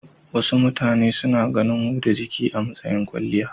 Wasu mutane suna ganin huda jiki a matsayin kwalliya.